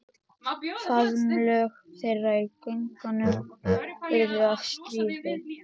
Faðmlög þeirra í göngunum urðu að stríði.